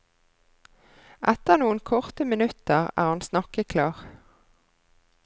Etter noen korte minutter er han snakkeklar.